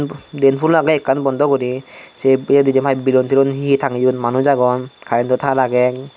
diyen hulo agey ekkan bondo guri say jainpai belon telon he he tageyon manus agon karento tar agey.